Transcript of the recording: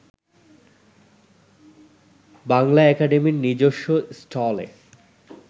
বাংলা একাডেমির নিজস্ব স্টলে